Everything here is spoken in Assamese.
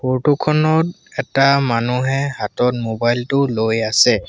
ফটো খনত এটা মানুহে হাতত মোবাইল টো লৈ আছে।